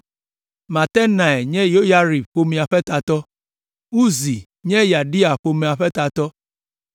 Matenai nye Yoyarib ƒomea ƒe tatɔ, Uzi nye Yedaia ƒomea ƒe tatɔ,